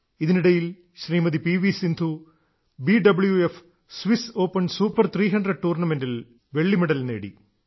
ഇതിനിടയിൽ Shrimati P V Sindhu B W F Swiss Open Super 300 ടൂർണ്ണമെന്റിൽ വെള്ളിമെഡൽ നേടി